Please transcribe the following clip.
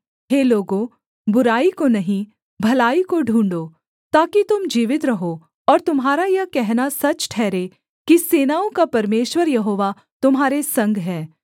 हे लोगों बुराई को नहीं भलाई को ढूँढ़ो ताकि तुम जीवित रहो और तुम्हारा यह कहना सच ठहरे कि सेनाओं का परमेश्वर यहोवा तुम्हारे संग है